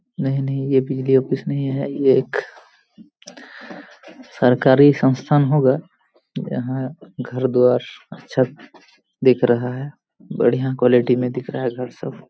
नहीं नहीं ये बिजली ऑफिस नहीं है ये एक सरकारी संस्थान होगा यहां घर दुआर अच्छा दिख रहा है बढ़िया क्वालिटी मे दिख रहा घर सब।